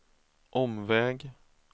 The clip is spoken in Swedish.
omväg